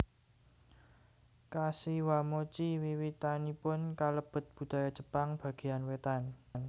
Kashiwamochi wiwitanipun kalebet budaya Jepang bagéyan wétan